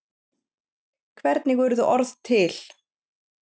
hvernig urðu orð til